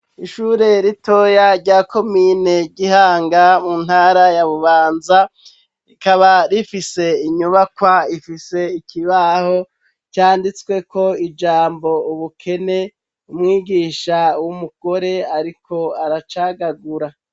Ishure ritoya rya Komine Gihanga mu ntara ya Bubanza, rikaba rifise inyubakwa ifise ikibaho canditsweko ijambo "ubukene" umwigisha w'umugore ariko aracagagura.